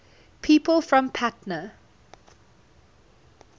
people from patna